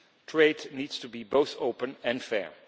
Trade needs to be both open and fair.